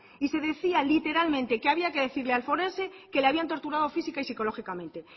y se decía literalmente que había que decirle al forense que le habían torturado física y psicológicamente